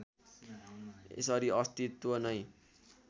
यसरी अस्तित्व नै